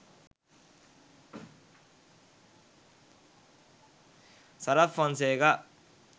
sarath fonseka